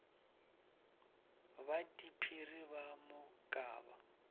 ba diphiri ba mo kaba